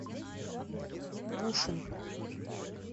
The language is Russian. бушин